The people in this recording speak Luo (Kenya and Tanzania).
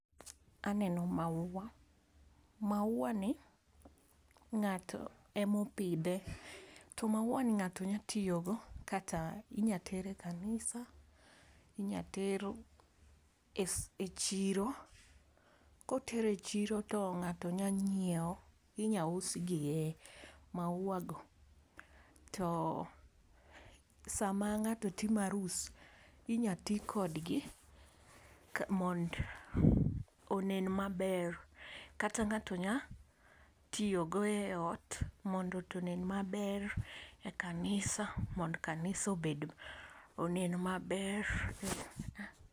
Aneno maua, maua ni ng'ato e ma opidhe to maua ni ng'ato nyalo tiyo go kata inya ter e kanisa kata inya ter gi e chiro, ko oter gi e chiro to ng'ato nya ng'iewo inya usgi e to sa ma ng'ato timo arus to inya ti kod gi mondo onen ma ber, kata ng'ato nya tiyo go e ot mondo ot onen ma ber, e kanisa mondo kanisa obed onen ma ber.